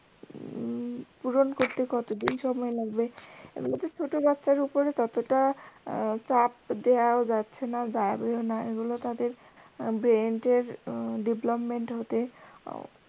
পূরণ করতে কতদিন সময় লাগবে, এবারে ছোটো বাচ্চার ওপর ততটা চাপ দেওয়াও যাচ্ছে না যাবেও না এগুলো তাদের brain এর development হতে